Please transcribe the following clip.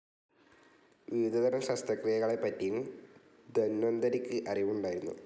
വിവിധതരം ശസ്ത്രക്രിയകളെപ്പറ്റിയും ധന്വന്തരിക്ക് അറിവുണ്ടായിരുന്നു.